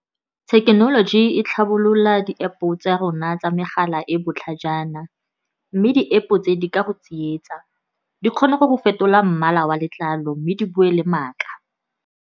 Thekenoloji e tlhabolola di-App-o tsa rona tsa megala e botlhajana, mme di-App-o tse di ka go tsietsa, di kgona go go fetola mmala wa letlalo mme di bue le maaka.